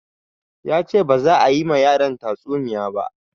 Yace baza a yi ma yaran ta tsuniya ba